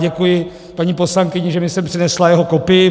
Děkuji paní poslankyni, že mi sem přinesla jeho kopii.